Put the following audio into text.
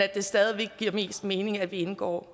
det stadig væk giver mest mening at vi indgår